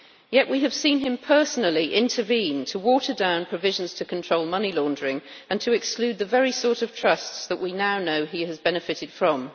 Yet we have seen him personally intervene to water down provisions to control money laundering and to exclude the very sort of trusts that we now know he has benefited from.